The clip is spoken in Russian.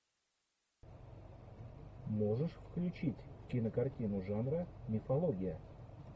можешь включить кинокартину жанра мифология